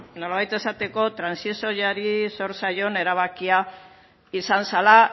nolabait esateko trantsizioari sor zaion erabakia izan zela